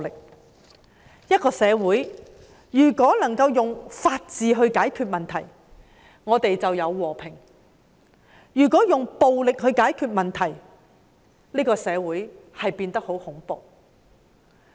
如果一個社會能夠用法治解決問題，社會就有和平；如果用暴力解決問題，社會就會變得很恐怖。